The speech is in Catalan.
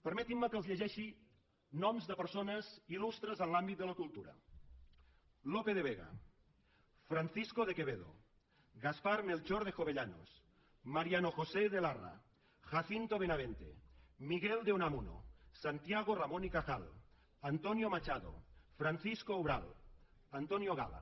permetin me que els llegeixi noms de persones il·lustres en l’àmbit de la cultura lope de vega francisco de quevedo gaspar melchor de jovellanos mariano josé de larra jacinto benavente miguel de unamuno santiago ramon y cajal antonio machado francisco umbral antonio gala